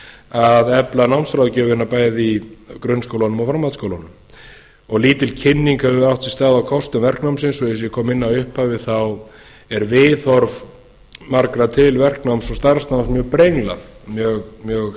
að efla námsráðgjöfina bæði í grunnskólunum og framhaldsskólunum lítil kynning hefur átt sér stað á kostum verknámsins og eins og ég kom inn á í upphafi er viðhorf margra til verknáms og starfsnáms mjög brenglað mjög skakkt þess